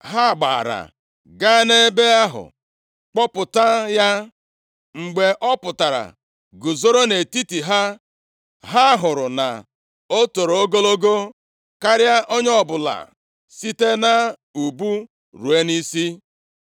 Ha gbaara gaa nʼebe ahụ kpọpụta ya. Mgbe ọ pụtara guzoro nʼetiti ha, ha hụrụ na o toro ogologo karịa onye ọbụla site nʼubu ruo nʼisi.